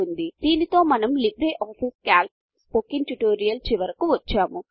దీనితో మనము LibreOffice Calc spoken tutorial చివరకు వచ్చాము